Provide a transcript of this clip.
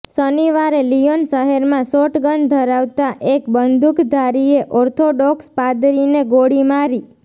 શનિવારે લિયોન શહેરમાં શોટગન ધરાવતા એક બંદૂકધારીએ ઓર્થોડોક્સ પાદરીને ગોળી મારી